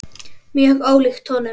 Mjög ólíkt honum.